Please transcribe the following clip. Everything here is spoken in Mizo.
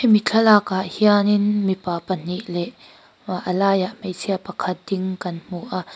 hemi thlalakah hianin mipa pahnih leh a laiah hmeichhia pakhat a ding kan hmu a.